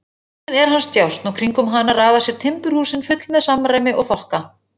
Tjörnin er hans djásn og kringum hana raða sér timburhúsin full með samræmi og þokka.